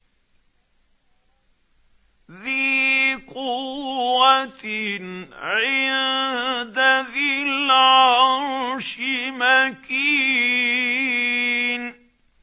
ذِي قُوَّةٍ عِندَ ذِي الْعَرْشِ مَكِينٍ